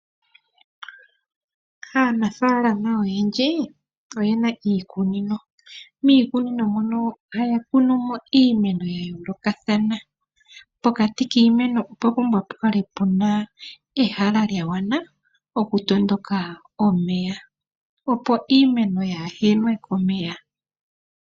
Aanafalama oyendji oye na iikunino ,miikunino mono ohaya kunumo iimeno ya yoolokathana , pokati kiimeno opwa mbumbwa okukala ehala lyagwana oku tondoka omeya, opo iimeno yahenwe komeya